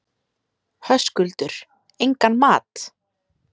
Höskuldur: Engan mat?